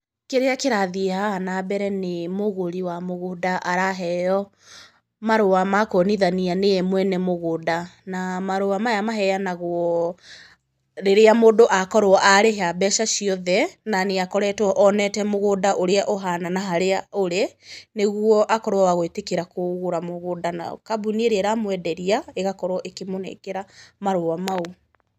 Kĩrĩa kĩrathiĩ haha na mbere nĩ mũgũri wa mũgũnda araheyo marũa ma kuonithania nĩye mwene mũgũnda, na marũa maya maheanagwo rĩrĩa mũndũ akorwo arĩha mbeca ciothe, na nĩ akoretwo onete mũngũnda ũrĩa ũhana, na harĩa ũrĩ, nĩguo akorwo wa gũĩtĩkĩra kũgũra mũgũnda, na kambuni ĩrĩa ĩramwenderia ĩkorwo ya kũmũnengera marũa mau.